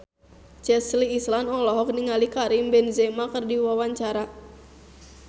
Chelsea Islan olohok ningali Karim Benzema keur diwawancara